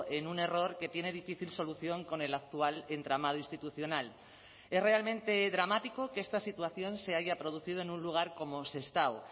en un error que tiene difícil solución con el actual entramado institucional es realmente dramático que esta situación se haya producido en un lugar como sestao